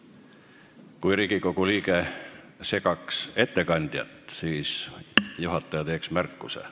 Kui Riigikogu liige segaks ettekandjat, siis juhataja teeks märkuse.